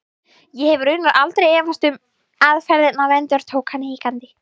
Ég hef raunar aldrei efast um aðferðirnar endurtók hann hikandi.